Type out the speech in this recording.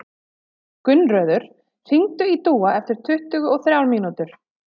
Gunnröður, hringdu í Dúa eftir tuttugu og þrjár mínútur.